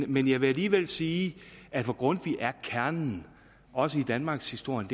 men jeg vil alligevel sige at for grundtvig er kernen også i danmarkshistorien